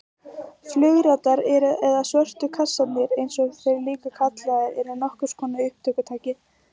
Flugritar eða svörtu kassarnir eins og þeir eru líka kallaðir eru nokkurs konar upptökutæki.